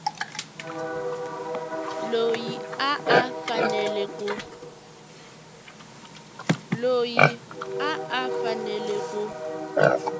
loyi a a fanele ku